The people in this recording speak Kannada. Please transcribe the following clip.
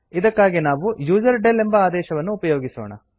ಇದಕ್ಕಾಗಿ ನಾವು ಯುಸರ್ಡೆಲ್ ಎಂಬ ಆದೇಶವನ್ನು ಉಪಯೋಗಿಸೋಣ